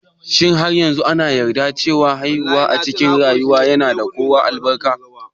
Shin har yanzu an yarda cewa haihuwa a cikin ruwa yana kawo albarka?